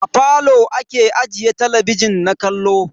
A falo ake ajiye talabijin na kallo.